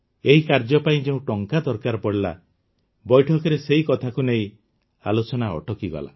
ଏହି କାର୍ଯ୍ୟ ପାଇଁ ଯେଉଁ ଟଙ୍କା ଦରକାର ପଡ଼ିଲା ବୈଠକରେ ସେହି କଥାକୁ ନେଇ ଆଲୋଚନା ଅଟକିଗଲା